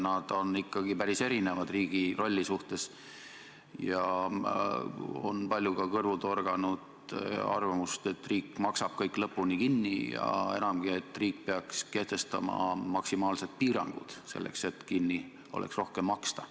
Need on ikkagi päris erinevad riigi rolli suhtes ja on palju kõrvu torganud arvamust, et riik maksab kõik lõpuni kinni, ja enamgi, et riik peaks kehtestama maksimaalsed piirangud, selleks et oleks rohkem kinni maksta.